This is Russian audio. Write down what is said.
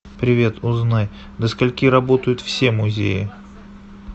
привет узнай до скольки работают все музеи